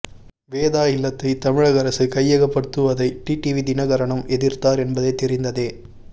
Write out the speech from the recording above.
வேதா இல்லத்தை தமிழக அரசு கையகப்படுத்துவதை டிடிவி தினகரனும் எதிர்த்தார் என்பது தெரிந்ததே